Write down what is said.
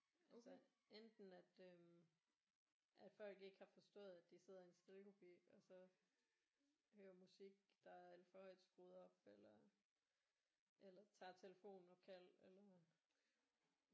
Så enten at øh at folk ikke har forstået at de sidder i en stillekupe og så hører musik der er alt for højt skruet op eller eller tager telefonopkald eller